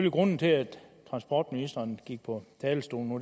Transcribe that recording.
at grunden til at transportministeren gik på talerstolen nu